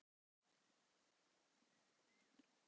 Spurt var hvort hún kannaðist við það?